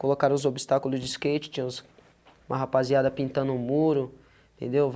Colocaram os obstáculos de skate, tinha uns, uma rapaziada pintando um muro, entendeu?